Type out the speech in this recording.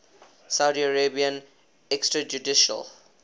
saudi arabian extrajudicial